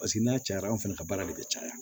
Paseke n'a cayara anw fana ka baara de bɛ caya